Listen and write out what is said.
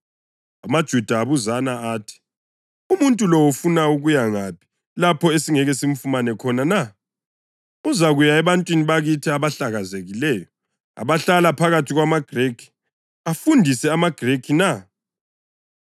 AmaJuda abuzana athi, “Umuntu lo ufuna ukuya ngaphi lapho esingeke samfumana khona na? Uzakuya ebantwini bakithi abahlakazekileyo abahlala phakathi kwamaGrikhi, afundise amaGrikhi na?